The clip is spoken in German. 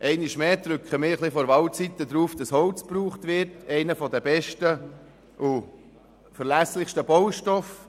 Einmal mehr insistieren wir vor Wahlzeiten darauf, dass Holz benutzt wird, einer der besten und verlässlichsten Baustoffe.